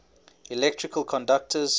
electrical conductors